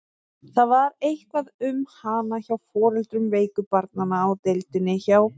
Það var eitthvað um hana hjá foreldrum veiku barnanna á deildinni hjá